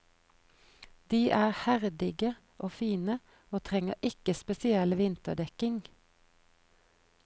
De er herdige og fine, og trenger ikke spesiell vinterdekking.